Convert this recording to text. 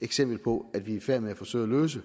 eksempel på at vi er i færd med at forsøge at løse